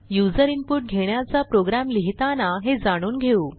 user input घेण्याचा program लिहिताना हे जाणून घेऊ